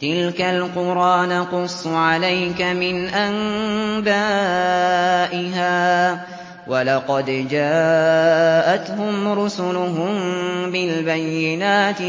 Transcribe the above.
تِلْكَ الْقُرَىٰ نَقُصُّ عَلَيْكَ مِنْ أَنبَائِهَا ۚ وَلَقَدْ جَاءَتْهُمْ رُسُلُهُم بِالْبَيِّنَاتِ